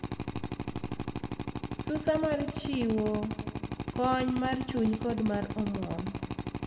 Susa mar chiwo kony mar chuny kod mar omwom .